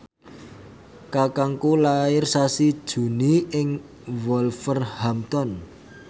kakangku lair sasi Juni ing Wolverhampton